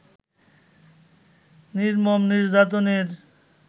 নির্মম নির্যাতনের